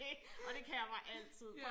Det og det kan jeg bare altid